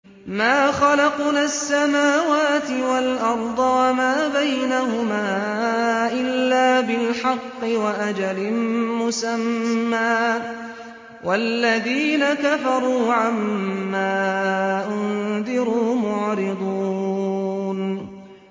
مَا خَلَقْنَا السَّمَاوَاتِ وَالْأَرْضَ وَمَا بَيْنَهُمَا إِلَّا بِالْحَقِّ وَأَجَلٍ مُّسَمًّى ۚ وَالَّذِينَ كَفَرُوا عَمَّا أُنذِرُوا مُعْرِضُونَ